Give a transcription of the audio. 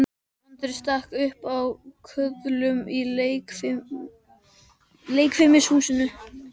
Andri stakk upp á köðlunum í leikfimishúsinu.